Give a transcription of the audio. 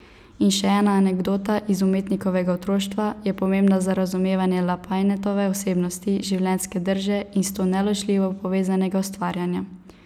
In še ena anekdota iz umetnikovega otroštva je pomembna za razumevanje Lapajnetove osebnosti, življenjske drže in s to neločljivo povezanega ustvarjanja.